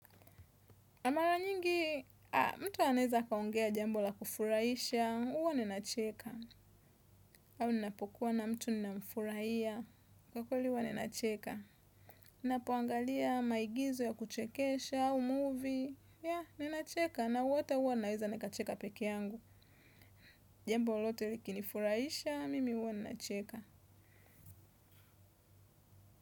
Na mara nyingi, mtu anaeza kaungea jambo la kufuraisha, uwa ninacheka. Au ninapokuwa na mtu ninamfurahia, kwa kweli uwa ninacheka. Nnapoangalia maigizo ya kuchekesha, au movie, ya nina cheka. Na hata uwa naeza nikacheka peke yangu. Jambo lolote likini furaisha, mimi uwa nina cheka.